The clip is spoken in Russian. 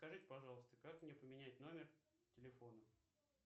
скажите пожалуйста как мне поменять номер телефона